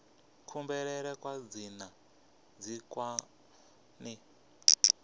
kubulele kwa dzina ndi kwone